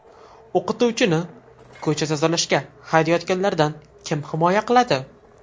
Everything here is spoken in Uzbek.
O‘qituvchini ko‘cha tozalashga haydayotganlardan kim himoya qiladi?.